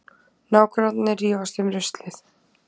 Nágrannar rífast um ruslið